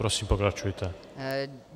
Prosím, pokračujte.